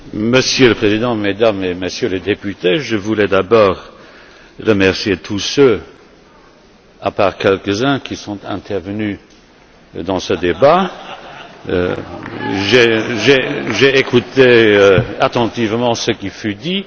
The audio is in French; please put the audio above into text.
Monsieur le Président, Mesdames et Messieurs les députés, je voulais d'abord remercier tous ceux, à part quelques uns, qui sont intervenus dans ce débat J'ai écouté attentivement ce qui a été dit.